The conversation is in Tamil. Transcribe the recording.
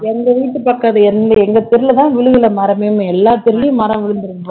எங்க வீட்டு பக்கம் அது எங்க தெருவுலதான் விழுகலை மரமே எல்லா தெருவுலயும் மரம் விழுந்திருக்கு போல